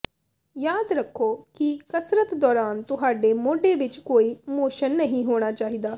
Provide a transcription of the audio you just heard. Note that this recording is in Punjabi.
ਯਾਦ ਰੱਖੋ ਕਿ ਕਸਰਤ ਦੌਰਾਨ ਤੁਹਾਡੇ ਮੋਢੇ ਵਿੱਚ ਕੋਈ ਮੋਸ਼ਨ ਨਹੀਂ ਹੋਣਾ ਚਾਹੀਦਾ